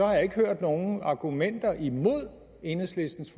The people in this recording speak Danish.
jeg ikke hørt nogen argumenter imod enhedslistens